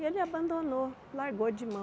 E ele abandonou, largou de mão.